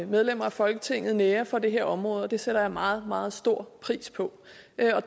medlemmer af folketinget nærer for det her område og det sætter jeg meget meget stor pris på